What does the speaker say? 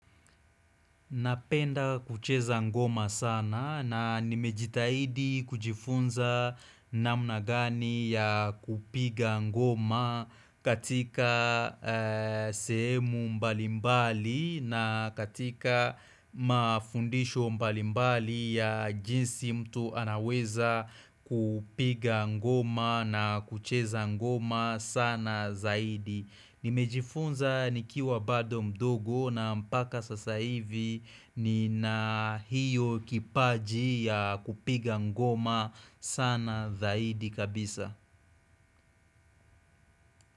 Napenda kucheza ngoma sana na nimejitahidi kujifunza namna gani ya kupiga ngoma katika sehemu mbalimbali na katika mafundisho mbalimbali ya jinsi mtu anaweza kupiga ngoma na kucheza ngoma sana zaidi. Nimejifunza nikiwa bado mdogo na mpaka sasa hivi nina hiyo kipaji ya kupiga ngoma sana zaidi kabisa.